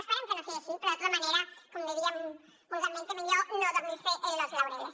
esperem que no sigui així però de tota manera com diríem vulgarment millor no dormirse en los laureles